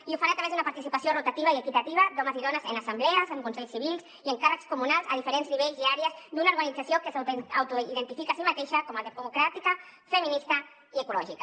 i ho fan a través d’una participació rotativa i equitativa d’homes i dones en assemblees en consells civils i en càrrecs comunals a diferents nivells i àrees d’una organització que s’autoidentifica a si mateixa com a democràtica feminista i ecològica